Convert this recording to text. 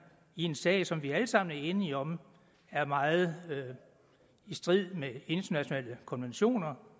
i en sag som vi alle sammen er enige om er meget i strid med internationale konventioner